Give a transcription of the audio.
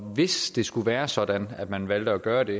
hvis det skulle være sådan at man valgte at gøre det